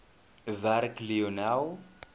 werk lionel